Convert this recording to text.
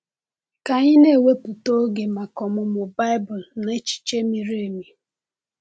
Ka anyị na-ewepụta oge maka ọmụmụ Baịbụl na echiche miri emi.